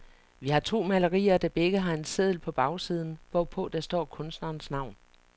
Vi har to malerier, der begge har en seddel på bagsiden, hvorpå der står kunstnerens navn.